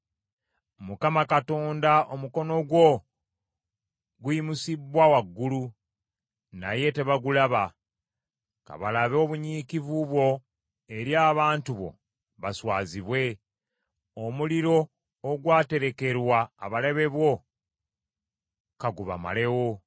Mukama Katonda omukono gwo guyimusibbwa waggulu, naye tebagulaba. Ka balabe obunyiikivu bwo eri abantu bo baswazibwe, omuliro ogwaterekerwa abalabe bo ka gubamalewo.